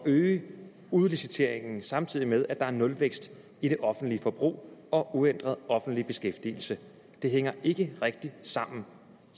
øge udliciteringen samtidig med at der er nulvækst i det offentlige forbrug og uændret offentlig beskæftigelse det hænger ikke rigtig sammen